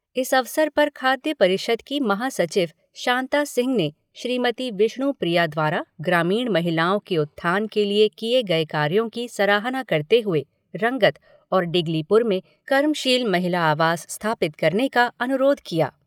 इस अवसर पर खाद्य परिषद की महासचिव शांता सिंह ने श्रीमती विष्णु प्रिया द्वारा ग्रामीण महिलाओं के उत्थान के लिए किए गए कार्यों की सराहना करते हुए रंगत और डिगलीपुर में कर्मशील महिला आवास स्थापित करने का अनुरोध किया।